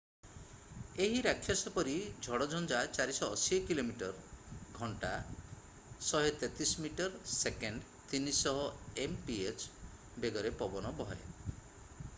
ଏହି ରାକ୍ଷସ ପରି ଝଡ଼ଝଞ୍ଜା 480 କିଲୋମିଟର/ଘଣ୍ଟା 133 ମିଟର/ସେକେଣ୍ଡ; 300 mph ବେଗରେ ପବନ ବହେ।